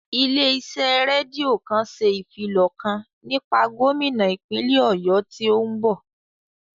Ilé iṣẹ́ rédíò kan ṣe ìfilọ̀ kan nípa gómínà ìpínlè Ọ̀yọ́ tí ó ń bọ̀